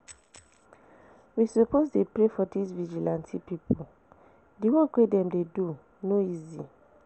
We suppose dey pray for dis vigilante people, the work wey dem dey do no easy